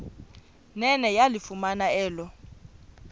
nene yalifumana elo